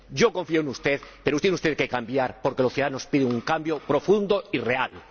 Yo confío en usted, pero tiene usted que cambiar porque los ciudadanos piden un cambio profundo y real.